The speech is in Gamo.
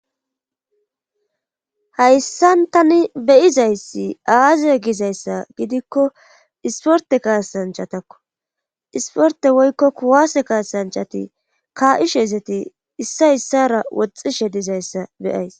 Hayssan tani beyizayssi aazie gizayssa gidikko isporte kaasanchatakko isporte woykko kuwase kaasanchati kaa'ishe ezeti issa issara woxxishe dizayssa beyays.